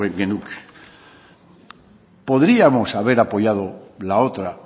genuke podríamos haber apoyado la otra